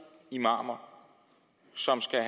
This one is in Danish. imamer som skal